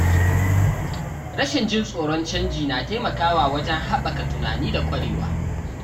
Rashin jin tsoron canji na taimakawa wajen haɓaka tunani da kwarewa.